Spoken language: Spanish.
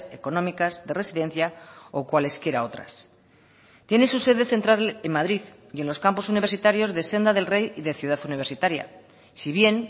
económicas de residencia o cuales quiera otras tiene su sede central en madrid y en los campos universitarios de senda del rey y de ciudad universitaria si bien